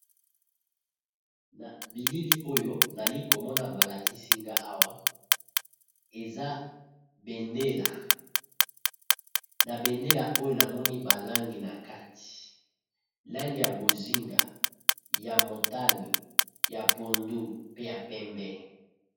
na bilili oyo nali komona balakisinga awa eza bendela oyo namoni balange na kati langi ya bozinga ya motani ya pondu pe ya pembe